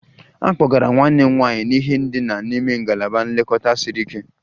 A kpọgara nwanne m nwanyị n'ihe ndina n'ime ngalaba nlekọta siri ike